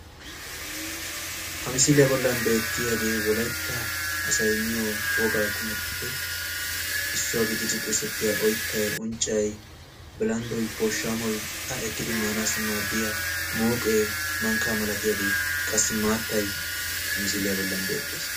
Ha misiliyaa bolli beettiyaagee wolaytta asay miyoo wogaa qumatuppe issuwaa gididi xeegettiyaa oyttay unccay billanddoy pooshshamoy a ekkidi maanassi maaddiyaa mooqee mankkaa milatiyaagee qassi maattay misiliyaa bolli beettees.